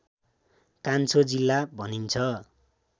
कान्छो जिल्ला भनिन्छ